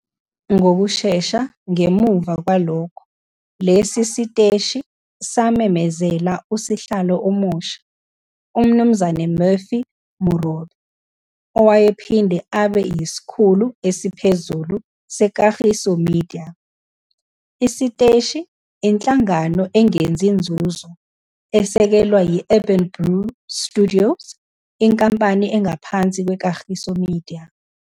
Ngokushesha ngemuva kwalokho, lesi siteshi samemezela usihlalo omusha, uMnu Murphy Morobe, owayephinde abe yisikhulu esiphezulu seKagiso Media. Isiteshi, inhlangano engenzi nzuzo, esekelwa yi-Urban Brew Studios - inkampani engaphansi kweKagiso Media.